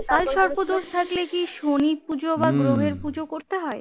কালসর্প দোষ থাকলে কি শনি পুজো বা গ্রহের পুজো করতে হয়?